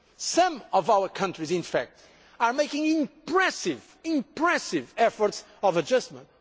Some of our countries in fact are making impressive impressive efforts of adjustment.